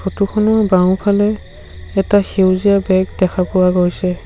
Photo খনৰ বাওঁফালে এটা সেউজীয়া বেগ দেখা পোৱা গৈছে।